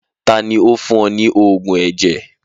Taàní ó fún ọ ní oògùn ẹ̀jẹ̀?